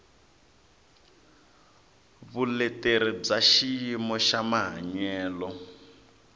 vuleteri bya xiyimo xa mahanyelo